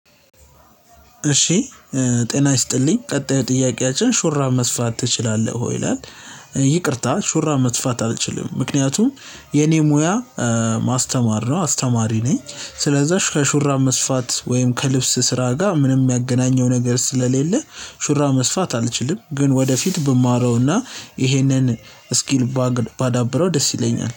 እሺ ጤና ይስጥልኝ ቀጣይ ጥያቄያችን ሹራብ መስፋት ትችላለህ ወይ ይላል ይቅርታ ሹራ መስፋት አልችልም። ምክንያቱም የኔ ሙያ ማስተማር ነው አስተማሪ ነኝ ስለዛ ከሹራብ መስፋት ወይም ከልብስ ስራ ጋር ምንም የሚገናኘው ነገር ስለሌለ ሹራብ መስፋት አልችልም። ግን ወደፊት ብማረውና ይሄንን ስኪል ባዳብረው ደስ ይለኛል።